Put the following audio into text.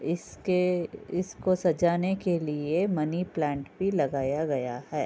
इसके इसको सजाने के लिए मनीप्लांट भी लगाया गया है।